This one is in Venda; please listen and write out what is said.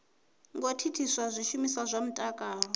ngo thithisa zwishumiswa zwa mutakalo